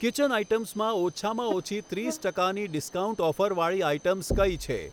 Kitchen આઇટમ્સમાં ઓછામાં ઓછી ત્રીસ ટકાની ડિસ્કાઉન્ટ ઓફરવાળી આઇટમ્સ કઈ છે?